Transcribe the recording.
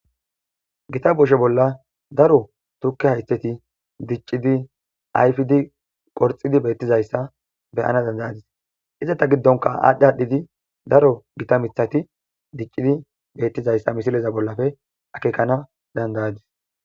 Gita boshe bolla daro tukke haytteti diccidi ayfidi qorxidi beettizayssa beyana dandayadis izeta giddonka aadhdhi hadhidi daro gita mithati diccidi beettizayssa misileza bollafe akekana dandayadis.